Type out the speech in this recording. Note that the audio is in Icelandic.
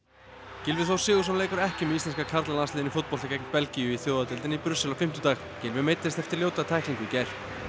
Gylfi Þór Sigurðsson leikur ekki með íslenska karlalandsliðinu í fótbolta gegn Belgíu í Þjóðadeildinni í Brussel á fimmtudag Gylfi meiddist eftir ljóta tæklingu í gær